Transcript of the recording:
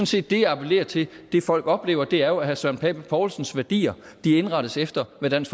set det jeg appellerer til det folk oplever er jo at herre søren pape poulsens værdi indrettes efter hvad dansk